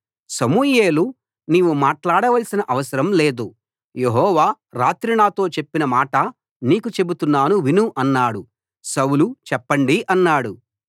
సమూయేలు నీవు మాట్లాడవలసిన అవసరం లేదు యెహోవా రాత్రి నాతో చెప్పిన మాట నీకు చెబుతున్నాను విను అన్నాడు సౌలు చెప్పండి అన్నాడు